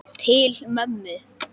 Til mömmu.